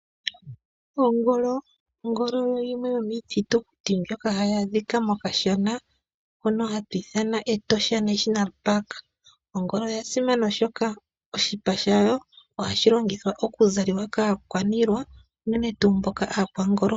Ongolo. Ongolo oyo yimwe yomiithitukuti mbyoka hayi adhika mokashana mono hatu ithana Etosha National Park. Ongolo oya simana oshoka oshipa shayo ohashi longithwa oku zalwa kaakwaniilwa unene tuu aakwangolo.